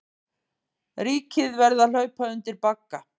Ríkið verði að hlaupa undir bagga